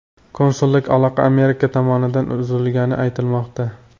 Konsullik aloqa Amerika tomonidan uzilganini aytmoqda.